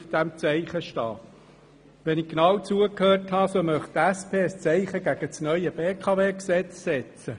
Wenn ich richtig zugehört habe, möchte die SP ein Zeichen gegen das neue BKW-Gesetz setzen.